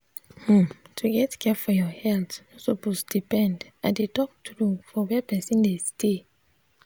hmm to get care for your health no suppose depend i dey talk true for where person dey stay.